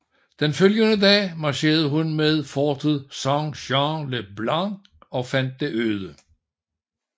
Den følgende dag marcherede hun mod fortet Saint Jean le Blanc og fandt det øde